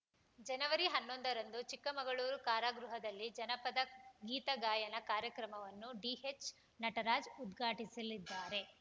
ಜನವರಿ ಹನ್ನೊಂದರಂದು ಚಿಕ್ಕಮಗಳೂರು ಕಾರಾಗೃಹದಲ್ಲಿ ಜಾನಪದ ಗೀತಗಾಯನ ಕಾರ್ಯಕ್ರಮವನ್ನು ಡಿಎಚ್‌ ನಟರಾಜ್‌ ಉದ್ಘಾಟಿಸಲಿದ್ದಾರೆ